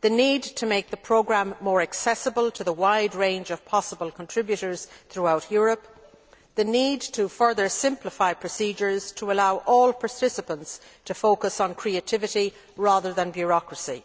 the need to make the programme more accessible to the wide range of possible contributors throughout Europe, and the need to further simplify procedures to allow all participants to focus on creativity rather than bureaucracy.